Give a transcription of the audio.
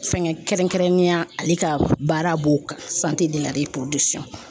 Fɛnkɛ kɛrɛnkɛrɛnnenya ale ka baara b'o de la